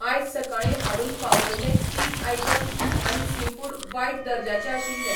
आयज सकाळीं हाडून पावयल्ले चीज आयटम्स आनी सीफूड वायट दर्जाचे आशिल्लें.